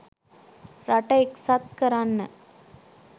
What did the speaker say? රට එක්සත් කරන්න